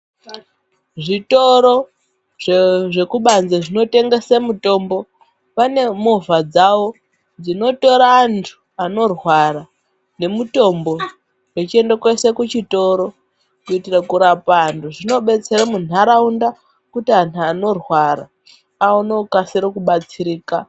Zvitoro zvekubanze zvinotengese mutombo, pane movha dzawo dzinotora antu anorwara nemutombo vechiende koise kuchitoro, kuitire kurapa anhu. Zvinobetsere munharaunda kuti anhu anorwara aone kukasire kubatsirika.